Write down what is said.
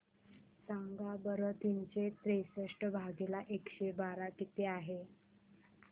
सांगा बरं तीनशे त्रेसष्ट भागीला एकशे बारा किती आहे